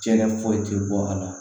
Cɛkɛ foyi tɛ bɔ a la